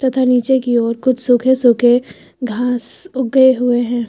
तथा नीचे की और कुछ सूखे सूखे घास उगे हुए हैं।